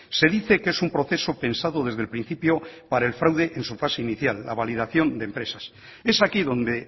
se dice que es un proceso pensado desde el principio para el fraude en su fase inicial la validación de empresas es aquí donde